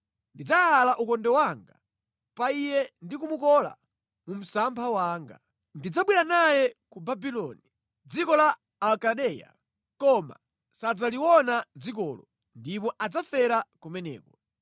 Ndidzayala ukonde wanga pa iye ndi kumukola mu msampha wanga. Ndidzabwera naye ku Babuloni, dziko la Akaldeya, koma sadzaliona dzikolo, ndipo adzafera kumeneko.